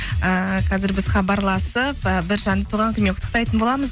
ыыы қазір біз хабарласып ы бір жанды туған күнімен құттықтайтын боламыз